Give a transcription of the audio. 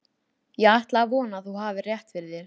Ég ætla að vona, að þú hafir rétt fyrir þér